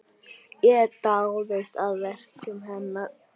Ég dáðist að verkum hennar.